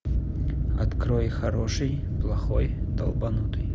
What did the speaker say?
открой хороший плохой долбанутый